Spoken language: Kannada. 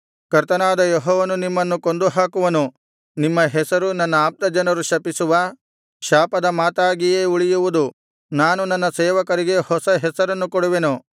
ಕರ್ತನಾದ ಯೆಹೋವನು ನಿಮ್ಮನ್ನು ಕೊಂದುಹಾಕುವನು ನಿಮ್ಮ ಹೆಸರು ನನ್ನ ಆಪ್ತಜನರು ಶಪಿಸುವ ಶಾಪದ ಮಾತಾಗಿಯೇ ಉಳಿಯುವುದು ನಾನು ನನ್ನ ಸೇವಕರಿಗೆ ಹೊಸ ಹೆಸರನ್ನು ಕೊಡುವೆನು